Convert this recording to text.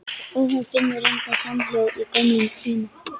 Og hún finnur engan samhljóm í gömlum tíma.